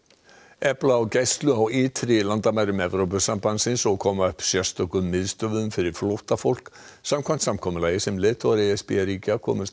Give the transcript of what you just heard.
efla á gæslu á ytri landamærum Evrópusambandins og koma upp sérstökum miðstöðvum fyrir flóttafólk samkvæmt samkomulagi sem leiðtogar e s b ríkja komust